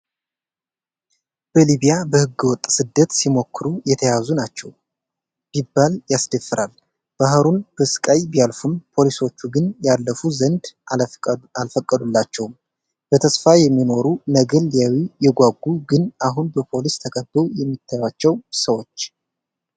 በሊቢያ በህገወጥ ስደት ሲሞክሩ የተያዙ ናቸው ቢባል ያስደፍራል ፤ ባሕሩን በስቃይ ቢያልፉም ፖሊሶቹ ግን ያልፉ ዘንድ አልፈቀዱላቸውም ፤ በተስፋ የሚኖሩ ነገን ሊያዩ የጓጉ ግን አሁን በፖሊስ ተከበው የሚታያቸው ሰዎች